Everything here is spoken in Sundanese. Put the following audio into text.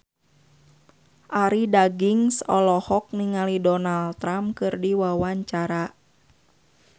Arie Daginks olohok ningali Donald Trump keur diwawancara